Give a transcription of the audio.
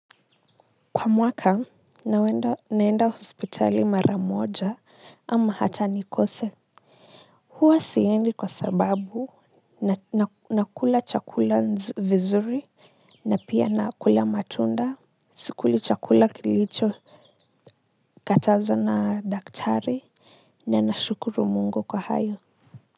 Kwa mwaka naenda naenda hospitali mara moja ama hata nikose huwa siendi kwa sababu na nakula chakula vizuri na pia na kula matunda sikuli chakula kilichokatazwa na daktari na nashukuru Mungu kwa hayo.